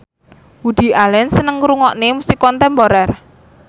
Woody Allen seneng ngrungokne musik kontemporer